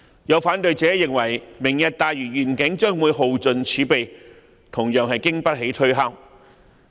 有反對者認為，"明日大嶼願景"將會耗盡政府儲備，這說法同樣經不起推敲。